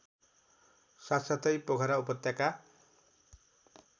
साथसाथै पोखरा उपत्यका